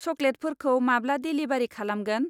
सकलेटफोरखौ माब्ला डेलिबारि खालामगोन?